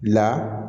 La